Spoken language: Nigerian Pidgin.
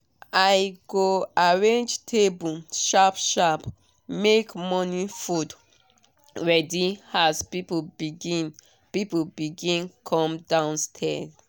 i go arrange table sharp sharp make morning food ready as people begin people begin come downstaird